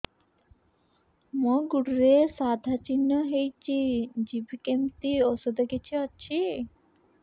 ମୋ ଗୁଡ଼ରେ ସାଧା ଚିହ୍ନ ହେଇଚି ଯିବ କେମିତି ଔଷଧ କିଛି ଅଛି